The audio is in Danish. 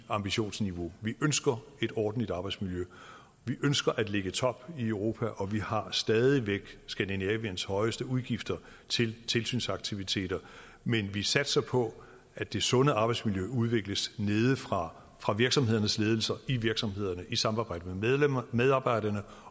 ambitionsniveauet vi ønsker et ordentligt arbejdsmiljø vi ønsker at ligge i toppen i europa og vi har stadig væk skandinaviens højeste udgifter til tilsynsaktiviteter men vi satser på at det sunde arbejdsmiljø udvikles nedefra fra virksomhedernes ledelser i virksomhederne i samarbejde med medarbejderne